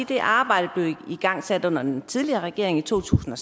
det arbejde blev igangsat under den tidligere regering i to tusind og